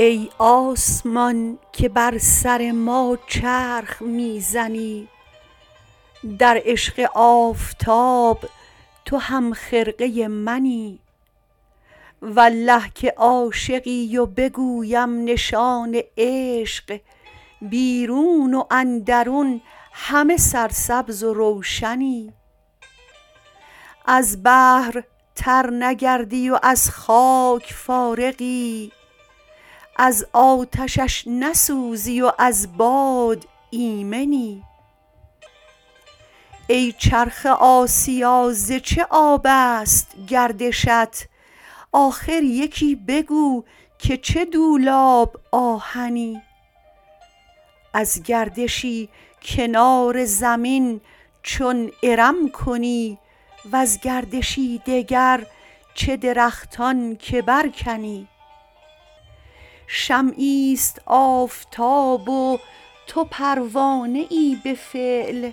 ای آسمان که بر سر ما چرخ می زنی در عشق آفتاب تو همخرقه منی والله که عاشقی و بگویم نشان عشق بیرون و اندرون همه سرسبز و روشنی از بحر تر نگردی و ز خاک فارغی از آتشش نسوزی و ز باد ایمنی ای چرخ آسیا ز چه آب است گردشت آخر یکی بگو که چه دولاب آهنی از گردشی کنار زمین چون ارم کنی وز گردشی دگر چه درختان که برکنی شمعی است آفتاب و تو پروانه ای به فعل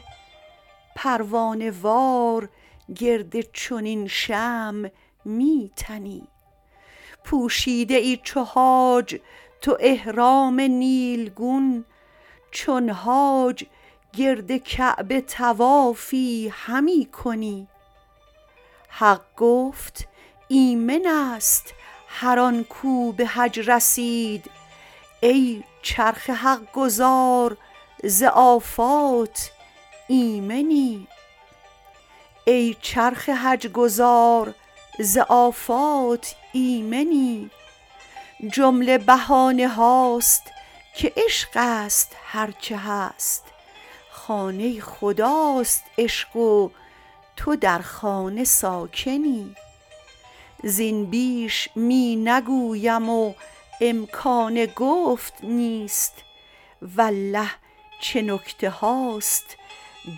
پروانه وار گرد چنین شمع می تنی پوشیده ای چو حاج تو احرام نیلگون چون حاج گرد کعبه طوافی همی کنی حق گفت ایمن است هر آن کو به حج رسید ای چرخ حق گزار ز آفات ایمنی جمله بهانه هاست که عشق است هر چه هست خانه خداست عشق و تو در خانه ساکنی زین بیش می نگویم و امکان گفت نیست والله چه نکته هاست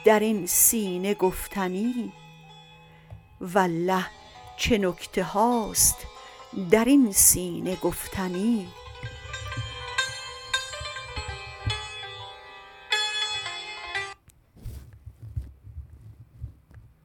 در این سینه گفتنی